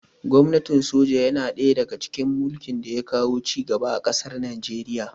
Gwamnatin soja yana ɗaya daga cikin mulkin da ya kawo ci gaba a ƙasar Nijeriya